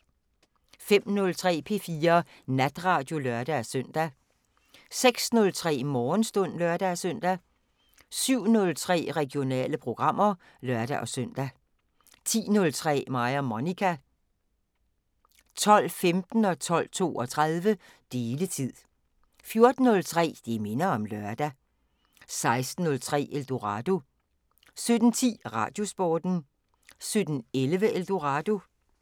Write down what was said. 05:03: P4 Natradio (lør-søn) 06:03: Morgenstund (lør-søn) 07:03: Regionale programmer (lør-søn) 10:03: Mig og Monica 12:15: Deletid 12:32: Deletid 14:03: Det minder om lørdag 16:03: Eldorado 17:10: Radiosporten 17:11: Eldorado